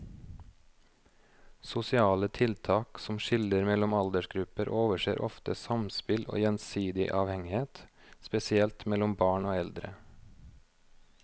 Sosiale tiltak som skiller mellom aldersgrupper overser ofte samspill og gjensidig avhengighet, spesielt mellom barn og eldre.